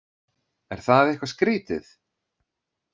Er það eitthvað skrítið?